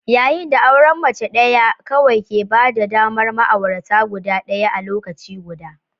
yayin da auren mace ɗaya kawai ke ba da damar ma'aurata guda ɗaya a lokaci guda.